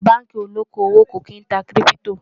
àwọn bánkì olókó owó kò kín tá kírìpitò